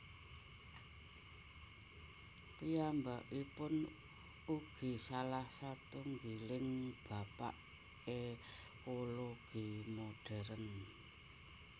Piyambakipun ugi salah satunggiling bapak ékologi modèrn